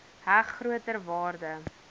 heg groter waarde